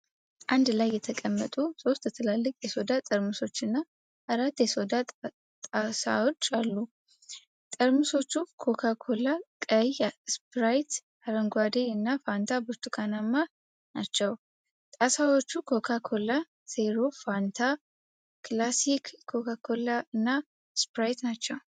አንድ ላይ የተቀመጡ ሶስት ትላልቅ የሶዳ ጠርሙሶችና አራት የሶዳ ጣሳዎች አሉ። ጠርሙሶቹ ኮካ ኮላ (ቀይ)፣ ስፕራይት (አረንጓዴ) እና ፋንታ (ብርቱካንማ) ናቸው። ጣሳዎቹም ኮካ ኮላ ዜሮ፣ ፋንታ፣ ክላሲክ ኮካ ኮላ እና ስፕራይት ናቸው።